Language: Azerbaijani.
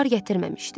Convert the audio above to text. Bar gətirməmişdi.